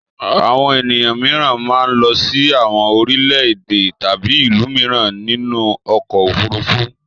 Àwọn ènìyàn mìíràn máa ń lọ sí àwọn orílẹ̀-èdè tàbí ìlú mìíràn nínú ọkọ̀-òfurufú.